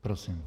Prosím.